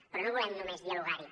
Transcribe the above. però no volem només dialogar hi